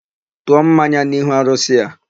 Tụọ mmanya n'ihu arụsị a!